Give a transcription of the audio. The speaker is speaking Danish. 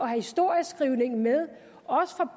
historieskrivningen med også for